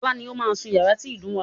Ọlá ni ó máa sún yàrá tí ìdun wà.